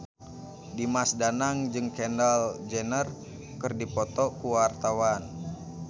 Dimas Danang jeung Kendall Jenner keur dipoto ku wartawan